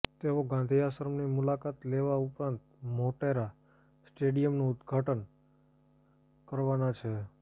તેઓ ગાંધી આશ્રમની મુલાકાત લેવા ઉપરાંત મોટેરા સ્ટેડિયમનું ઉદ્ઘાટન કરવાના છે